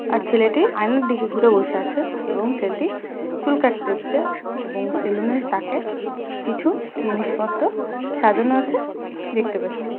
আর ছেলেটি আয়নার দিকে ঘুরে বসে আছে এবং ছেলেটি চুল কাটতে এসেছে এবং সেলুনের তাকে কিছু জিনিসপত্র সাজানো আছে দেখতে পাচ্ছি।